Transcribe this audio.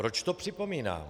Proč to připomínám?